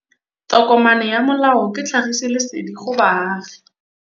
Tokomane ya molao ke tlhagisi lesedi go baagi.